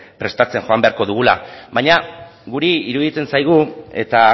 prestatzen joan beharko dugula baina guri iruditzen zaigu eta